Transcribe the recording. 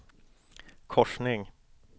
korsning